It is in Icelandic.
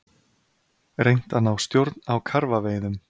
Reynt að ná stjórn á karfaveiðum